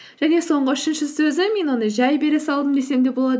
және соңғы үшінші сөзі мен оны жай бере салдым десем де болады